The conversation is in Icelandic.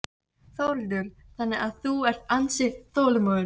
Þórhildur: Þannig að þú ert ansi þolinmóður?